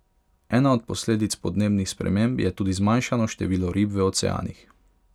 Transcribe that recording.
Ena od posledic podnebnih sprememb je tudi zmanjšano število rib v oceanih.